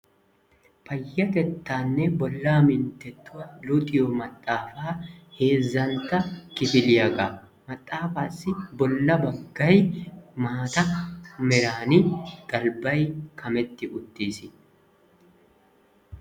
Payyatettaanne bollaa minttettuwa luxiyo maxaafaa heezzantta kifiliyagaa Maxaafaassi bolla baggay maata meraan galbbay kametti uttiis.